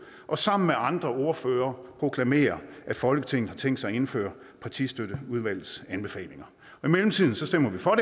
og sammen med andre ordførere proklamere at folketinget har tænkt sig at indføre partistøtteudvalgets anbefalinger i mellemtiden stemmer vi for